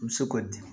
I bɛ se k'o di